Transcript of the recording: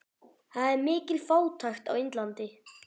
Það er mikil fátækt á Indlandi.